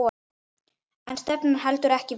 En stefnan heldur ekki vatni.